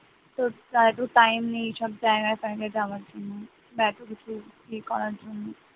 তো তার একটু time নেই এসব জায়গায় ফায়গা যাওয়ার জন্য বা এতকিছু ই করার জন্য,